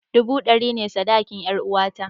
Dubu dari biyu ne sadakin 'yaruwata.